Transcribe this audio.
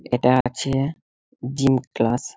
এটা আছে-এ gym class.